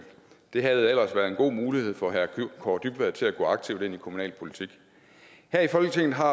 det havde ellers været en god mulighed for herre kaare dybvad til at gå aktivt ind i kommunalpolitik her i folketinget har